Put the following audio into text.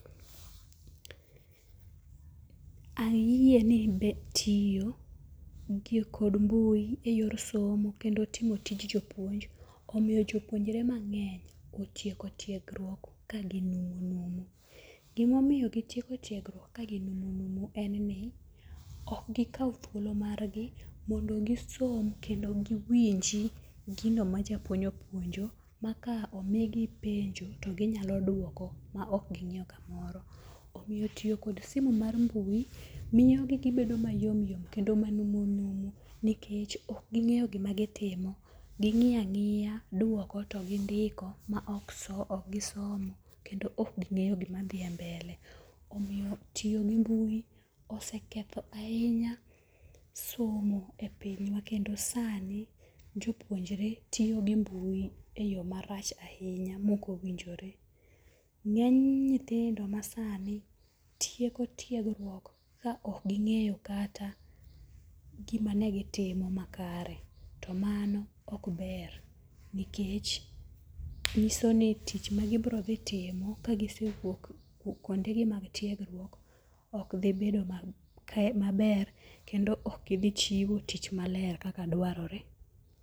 Ayie ni be tiyo gi kod mbui e yor somo kendo timo tij jopuonj omiyo jopuonjre mang'eny otieko tiegruok ka gi numu. Gimomiyo gitieko tiegruok ka ginumu numu en ni ok gikaw thuolo mar gi mondo gisom kendo giwinji gino ma japuonj opuonjo ma ka omi gi penjo to ginyalo duoko ma ok ging'iyo kamaoro. Omiyyo tiyo kod simiu mar mbui miyo gibedo mayom yom kendo manumu numu nikech ok ging'eyo gima gitimo. Ging'iya ang'iya duoko to gindiko ma ok gi somo kendo ok ging'eyo gima dhie mbele. Omiyo tiyo gi mbui oseketho ahinya somo e pinywa kendo sani jopuonjre tiyo gi mbui e yo marach ahinya mok owinjore. Ng'eny nyithindo masani tieko tiegruok ka ok ging'eyo kata gima ne gitimo makare to mano ok ber nikech nyiso ni tich ma gibiro dhi timo kagisewuok kuonde gi mag tiegruok ok dhi bedo maber kendo ok gidhi chiwo tich maler kaka dwarore.